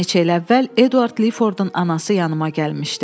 Bir neçə il əvvəl Eduard Lifordun anası yanıma gəlmişdi.